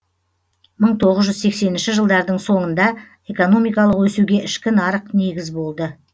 мың тоғыз жүз сексенінші жылдардың соңында экономикалық өсуге ішкі нарық негіз болды